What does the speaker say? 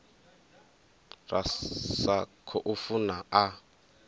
ra sa khou funa a